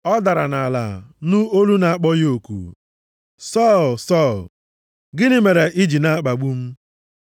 Ọ dara nʼala, nụ olu na-akpọ ya oku, “Sọl, Sọl, gịnị mere i ji na-akpagbu m?”